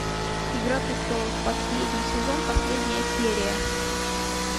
игра престолов последний сезон последняя серия